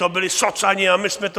To byli socani a my jsme to...